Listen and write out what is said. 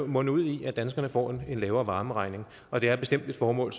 munde ud i at danskerne får en lavere varmeregning og det er bestemt et formål